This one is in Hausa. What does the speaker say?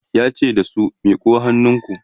yace da su "miƙo hannunku!"